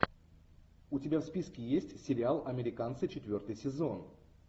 у тебя в списке есть сериал американцы четвертый сезон